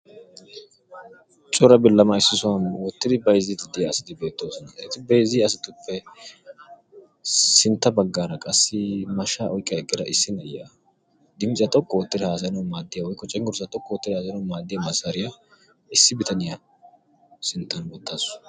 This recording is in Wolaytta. Cora bilama issi sohuwan wottiddi bayzziya asatti beetosonna. Hegaa sinttan cenuggurssa xoqqu oottidid haasayiyo miishshay beetees.